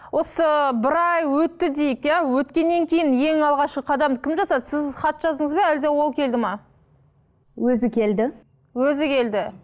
осы бір ай өтті дейік иә өткеннен кейін ең алғашқы қадамды кім жасады сіз хат жаздыңыз ба әлде ол келді ме өзі келді өзі келді